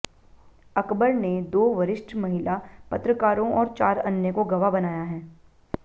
अकबर ने दो वरिष्ठ महिला पत्रकारों और चार अन्य को गवाह बनाया है